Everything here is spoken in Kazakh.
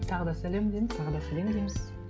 тағы да сәлем дейміз тағы да сәлем дейміз